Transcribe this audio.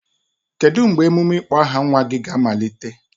Kedu mgbe emume ịkpọ aha nwa ga-amalite?